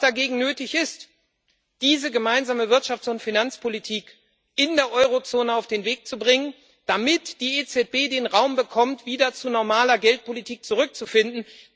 Dagegen ist es nötig, diese gemeinsame Wirtschafts und Finanzpolitik in der Eurozone auf den Weg zu bringen, damit die EZB den Raum bekommt, wieder zu normaler Geldpolitik zurückzufinden.